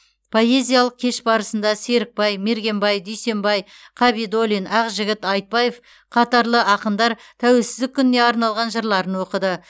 поэзиялық кеш барасында серікбай мергенбай дүйсенбай қабидоллин ақжігіт айтбаев қатарлы ақындар тәуелсіздік күніне арналған жырларын оқыды